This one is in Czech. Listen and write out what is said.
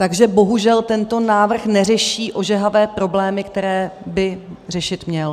Takže bohužel tento návrh neřeší ožehavé problémy, které by řešit měl.